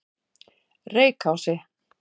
Reykási